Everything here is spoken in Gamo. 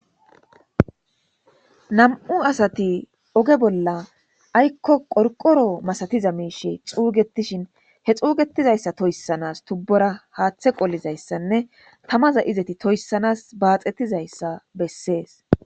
nam7u asati oge bolla aykko qorqoro masatiza miishe xuugetishin he xuugetizayssa toyssanas tubbora haaththe qollizayssanne tamaza izeti toyssanas baaxettizayssa bessees